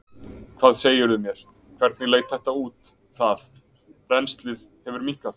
Hvað segirðu mér, hvernig leit þetta út, það, rennslið hefur minnkað?